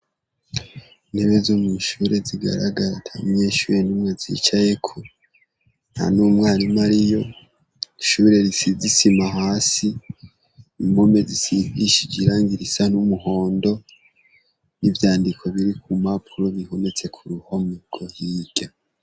Intebe zi mw'ishuri zigaragara atamunyeshure numwe azicayeko, ntanumwarimu ariyo. Ishure risize isima hasi, impome zisigishije irangi risa n'umuhondo, ivyandiko biri kumpapuro bihometse k'uruhome hirya.